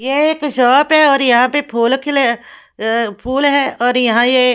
ये एक शॉप है और यहां पे फूल खिले अ फूल है और यहां ये--